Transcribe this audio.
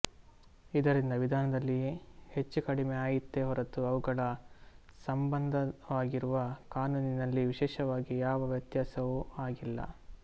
ಇದರಿಂದ ವಿಧಾನದಲ್ಲಿ ಹೆಚ್ಚು ಕಡಿಮೆ ಆಯಿತೇ ಹೊರತು ಅವುಗಳ ಸಂಬಂಧವಾಗಿರುವ ಕಾನೂನಿನಲ್ಲಿ ವಿಶೇಷವಾಗಿ ಯಾವ ವ್ಯತ್ಯಾಸವೂ ಆಗಿಲ್ಲ